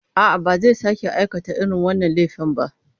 A'a, ba zai sake aikata irin wannan laifin ba.